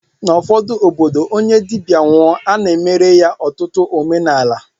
N'ụfọdụ obodo, onye dibịa nwụọ, a na-emere ya ọtụtụ omenala